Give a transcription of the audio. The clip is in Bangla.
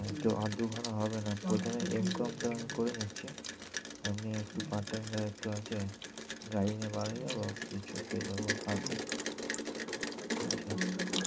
আহ তো আর দু খানা হবে না প্রথমে M com টা আমি করে নিচ্ছি এমনি একটু part time যারা একটু আছে গাড়ি নিয়ে বার হয়ে যাবো কিছু পেয়ে যাবো হাতে। ঠিক আছে